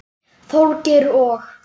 Þorgeir og